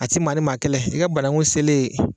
A tɛ maa ni maa kɛlɛ i ka bananku selen